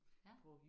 Ja